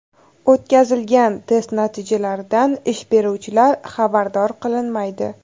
O‘tkazilgan test natijalaridan ish beruvchilar xabardor qilinmaydi.